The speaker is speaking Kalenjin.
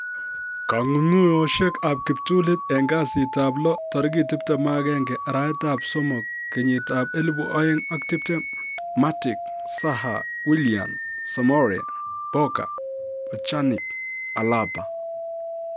Kong'ung'unyosiek ab kiptulit en kasitab lo tarigit 21/03/2020: Matic, Zaha, Willian, Soumare, Boga, Pjanic, Alaba